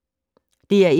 DR1